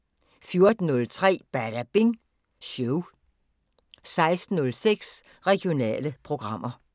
14:03: Badabing Show 16:06: Regionale programmer